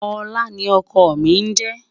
olá ní ókó mí je